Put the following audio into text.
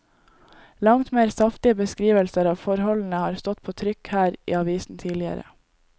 Langt mer saftige beskrivelser av forholdene har stått på trykk her i avisen tidligere.